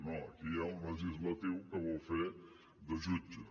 no aquí hi ha un legislatiu que vol fer de jutge